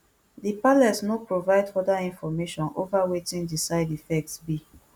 di palace no provide further information ova wetin di side effects be